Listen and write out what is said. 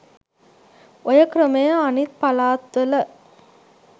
ඔය ක්‍රමය අනිත් පළාත්වල